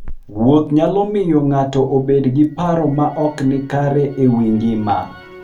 Wuoth nyalo miyo ng'ato obed gi paro ma ok ni kare e wi ngima.